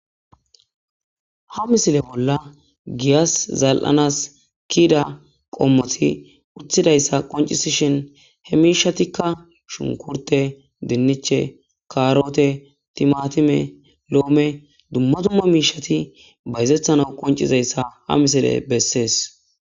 Ha misile bolla giyas zal'anas kiida qommoti uthidayssa qoncisishin he miishatikka shunkurte dinniche karote timatime loome dumma dumma miishati bayzethana qoncizayssa ha misile bessees.